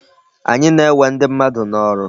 Anyị na-ewe ndị mmadụ n'ọrụ.